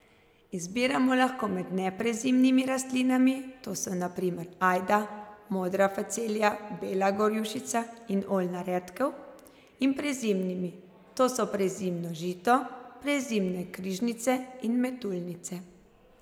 Izbiramo lahko med neprezimnimi rastlinami, to so na primer ajda, modra facelija, bela gorjušica in oljna redkev, in prezimnimi, to so prezimno žito, prezimne križnice in metuljnice.